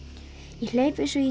ég hleyp eins og ég